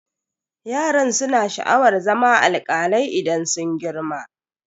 Yaran su na sha'awar zama alkalai idan sun girma.